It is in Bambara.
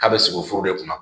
K'a bɛ sogo de kunna